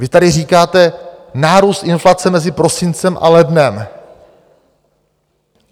Vy tady říkáte - nárůst inflace mezi prosincem a lednem.